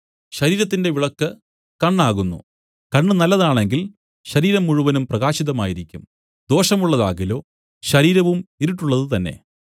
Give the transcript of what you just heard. ശരീരത്തിന്റെ വിളക്കു കണ്ണാകുന്നു കണ്ണ് നല്ലതാണെങ്കിൽ ശരീരം മുഴുവനും പ്രകാശിതമായിരിക്കും ദോഷമുള്ളതാകിലോ ശരീരവും ഇരുട്ടുള്ളതു തന്നേ